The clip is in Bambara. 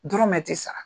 Dɔrɔmɛ ti sara